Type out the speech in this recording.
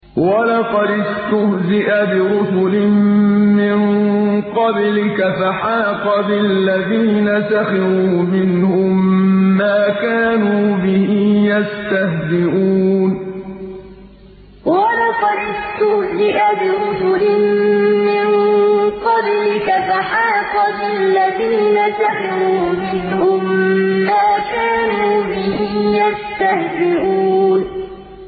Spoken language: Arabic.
وَلَقَدِ اسْتُهْزِئَ بِرُسُلٍ مِّن قَبْلِكَ فَحَاقَ بِالَّذِينَ سَخِرُوا مِنْهُم مَّا كَانُوا بِهِ يَسْتَهْزِئُونَ وَلَقَدِ اسْتُهْزِئَ بِرُسُلٍ مِّن قَبْلِكَ فَحَاقَ بِالَّذِينَ سَخِرُوا مِنْهُم مَّا كَانُوا بِهِ يَسْتَهْزِئُونَ